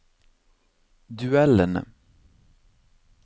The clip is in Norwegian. duellene